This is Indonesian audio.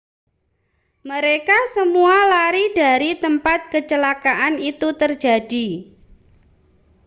mereka semua lari dari tempat kecelakaan itu terjadi